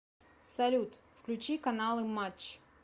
салют включи каналы матч